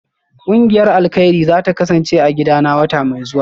Kungiyar alkairi zata kasance a gidana wata mai zuwa